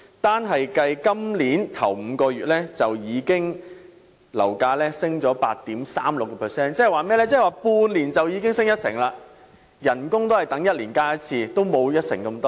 單計今年首5個月，樓價便已上升 8.36%， 即是說在半年間已經上升一成。